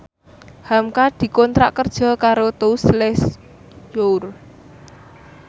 hamka dikontrak kerja karo Tous Les Jour